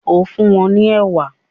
o fún wón ní ewa.